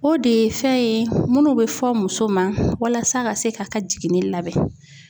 O de ye fɛn ye minnu bɛ fɔ muso ma walasa ka se ka ka jiginni labɛn.